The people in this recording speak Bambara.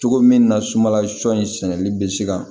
Cogo min na sumala sɔ in sɛnɛli bɛ se ka